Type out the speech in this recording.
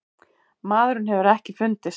Maðurinn hefur ekki fundist.